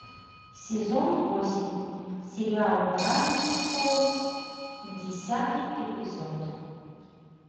сезон восемь сериал гравити фолз десятый эпизод